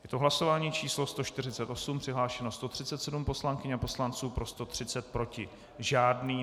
Je to hlasování číslo 148, přihlášeno 137 poslankyň a poslanců, pro 130, proti žádný.